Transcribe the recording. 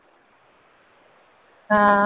ਹਾਂ।